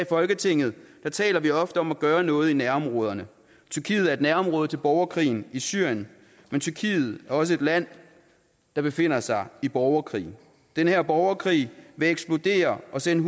folketinget taler vi ofte om at gøre noget i nærområderne tyrkiet er et nærområde til borgerkrigen i syrien men tyrkiet er også et land der befinder sig i borgerkrig den her borgerkrig vil eksplodere og sende